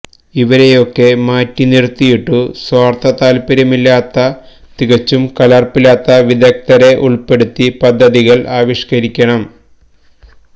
ഇവരെയൊക്കെ മാറ്റിനിർത്തിയിട്ടു സ്വാർത്ഥതാല്പര്യമില്ലാത്ത തികച്ചും കലർപ്പില്ലാത്ത വിദഗ്ദ്ധരെ ഉൾപ്പെടുത്തി പദ്ധതികൾ ആവിഷ്കരിക്കണം